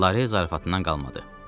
Lare zarafatından qalmadı.